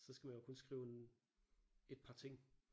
Så skal man jo kun skrive en et par ting